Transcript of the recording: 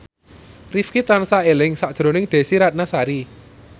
Rifqi tansah eling sakjroning Desy Ratnasari